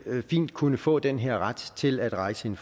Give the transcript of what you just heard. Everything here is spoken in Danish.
kunne få den her ret til at rejse en